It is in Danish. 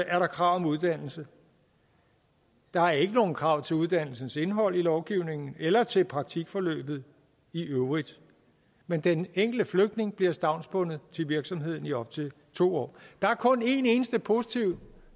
er der krav om uddannelse der er ikke nogen krav til uddannelsens indhold i lovgivningen eller til praktikforløbet i øvrigt men den enkelte flygtning bliver stavnsbundet til virksomheden i op til to år der er kun en eneste positiv